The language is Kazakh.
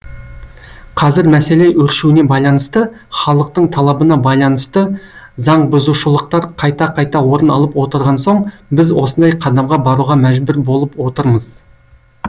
қазір мәселе өршуіне байланысты халықтың талабына байланысты заңбұзушылықтар қайта қайта орын алып отырған соң біз осындай қадамға баруға мүжбүр болып отырмыз